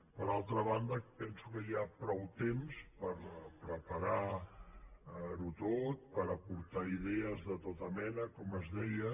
per altra banda penso que hi ha prou temps per preparar ho tot per aportar idees de tota mena com es deia